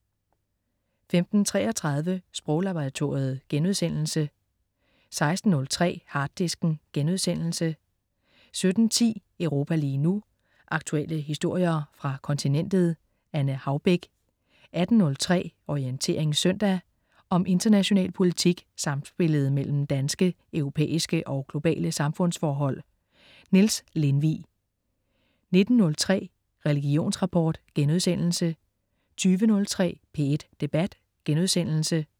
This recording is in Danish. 15.33 Sproglaboratoriet* 16.03 Harddisken* 17.10 Europa lige nu. Aktuelle historier fra kontinentet. Anne Haubek 18.03 Orientering søndag. Om international politik, samspillet mellem danske, europæiske og globale samfundsforhold. Niels Lindvig 19.03 Religionsrapport* 20.03 P1 Debat*